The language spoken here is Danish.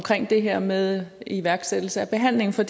det her med iværksættelse af behandling for